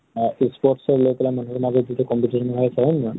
অ sports ক লৈ পেলাই মানুহ বিলাকৰ যিটো competition হৈ আছে, হয় নে নহয় ?